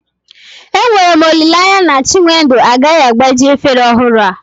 Enwere m olileanya na chinwendu agaghị agbaji efere ọhụrụ a